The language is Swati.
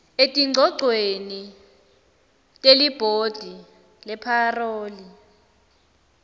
etingcogcweni telibhodi lepharoli